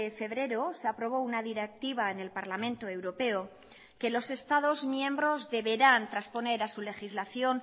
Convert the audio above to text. febrero se aprobó una directiva en el parlamento europeo que los estados miembros deberán transponer a su legislación